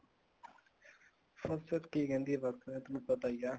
ਫਸਲ ਕੀ ਕਹਿੰਦੀ ਆ ਬੱਸ ਤੈਨੂੰ ਪਤਾ ਹੀ ਆ